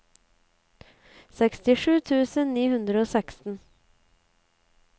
sekstisju tusen ni hundre og seksten